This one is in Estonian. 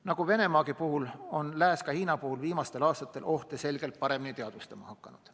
Nagu Venemaa puhul, on lääs ka Hiina puhul viimastel aastatel ohte selgelt paremini teadvustama hakanud.